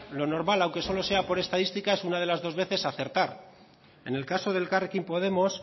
lo normal aunque solo sea por estadísticas una de las dos veces es acertar en el caso de elkarrekin podemos